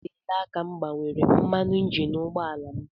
Oteela aka m gbanwere mmanụ injin ụgbọ ala m